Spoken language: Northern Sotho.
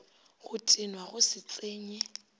go tenwa go se tsenye